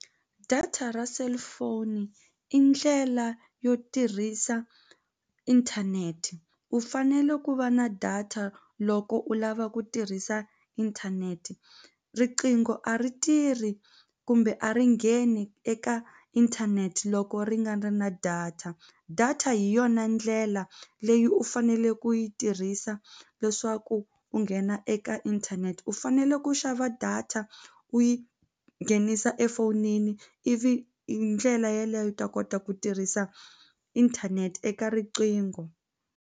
Data ra cellphone i ndlela yo tirhisa inthanete u fanele ku va na data loko u lava ku tirhisa inthanete riqingho a ri tirhi kumbe a ri ngheni eka inthanete loko ri nga na na data data hi yona ndlela leyi u fanele ku yi tirhisa leswaku u nghena eka inthanete u fanele ku xava data u yi nghenisa efowunini ivi hi ndlela yeleyo u ta kota ku tirhisa inthanete eka riqingho.